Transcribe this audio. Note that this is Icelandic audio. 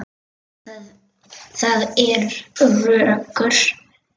Það er rökkur.